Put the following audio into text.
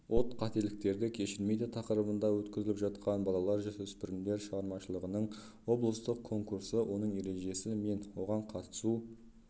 от қателікті кешірмейді тақырыбында өткізіліп жатқан балалар-жасөспірімдер шығармашылығының облыстық конкурсы оның ережесі мен оған қатысу